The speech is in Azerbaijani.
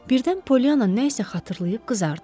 Birdən Polyanna nə isə xatırlayıb qızardı.